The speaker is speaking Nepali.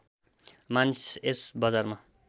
मानिस यस बजारमा